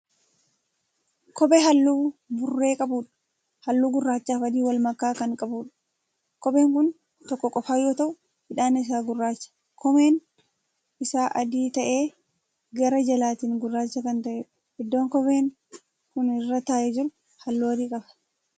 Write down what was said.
Kophee halluu burree qabdha. halluu gurraachaafi adii walmakaa Kan qabudha. kopheen Kun tokko qofa yoo ta'u hidhaan isaa gurraacha, koomeen Isaa adii ta'ee gara jalaatiin gurraacha Kan ta'edha. iddoon kopheen Kuni irra taa'ee jiru halluu adii qaba.